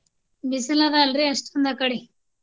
ಬಿಸಿಲ ಅದ ಅಲ್ರಿ ಅಷ್ಟೊಂದ ಅಕಡೆ.